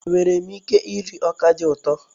Enwere m ike iri ọka dị ụtọ?